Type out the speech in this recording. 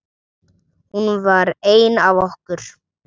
Hún var ein af okkur.